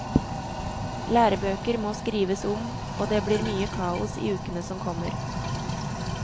Lærebøker må skrives om og det blir mye kaos i ukene som kommer.